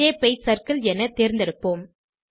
shape ஐ circle என தேர்ந்தெடுப்போம்